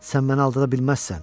Sən məni aldada bilməzsən.